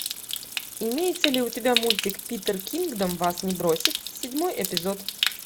имеется ли у тебя мультик питер кингдом вас не бросит седьмой эпизод